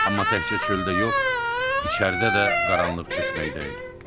Amma təkcə çöldə yox, içəridə də qaranlıq çökməkdə idi.